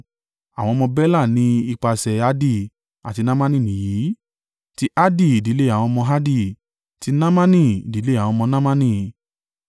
Àwọn ọmọ Bela ní ipasẹ̀ Ardi àti Naamani nìyìí: ti Ardi, ìdílé àwọn ọmọ Ardi; ti Naamani, ìdílé àwọn ọmọ Naamani.